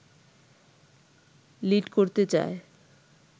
lead করতে চায়